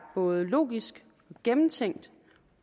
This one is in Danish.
både logisk og gennemtænkt